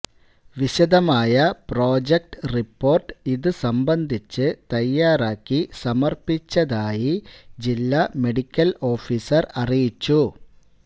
വിശദമായ project report ഇതുസംബന്ധിച്ച് തയ്യാറാക്കി സമര്പ്പിച്ചതായി ജില്ലാ മെഡിക്കല് ഓഫീസര് അറിയിച്ചു